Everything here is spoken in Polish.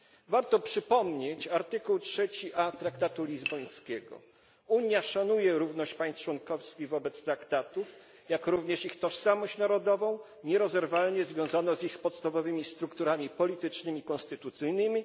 Warto przypomnieć artykuł 3a traktatu lizbońskiego Unia szanuje równość państw członkowskich wobec Traktatów, jak również ich tożsamość narodową nierozerwalnie związaną z ich podstawowymi strukturami politycznymi i konstytucyjnymi.